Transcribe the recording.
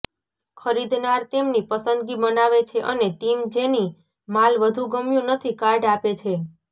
ખરીદનાર તેમની પસંદગી બનાવે છે અને ટીમ જેની માલ વધુ ગમ્યું નથી કાર્ડ આપે છે